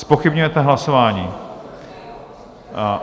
Zpochybňujete hlasování.